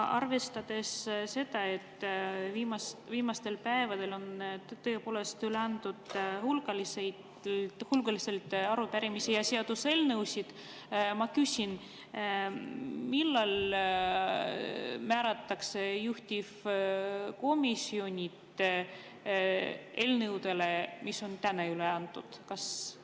Arvestades seda, et viimastel päevadel on tõepoolest üle antud hulgaliselt arupärimisi ja seaduseelnõusid, ma küsin: millal määratakse juhtivkomisjonid eelnõudele, mis on täna üle antud?